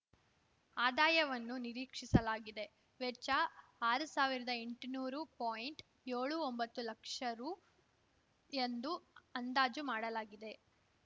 ಆದಾಯವನ್ನು ನಿರೀಕ್ಷಿಸಲಾಗಿದೆ ವೆಚ್ಚ ಆರು ಸಾವಿರದಾ ಎಂಟುನೂರು ಪಾಯಿಂಟ್ಯೋಳು ಒಂಬತ್ತು ಲಕ್ಷ ರು ಎಂದು ಅಂದಾಜು ಮಾಡಲಾಗಿದೆ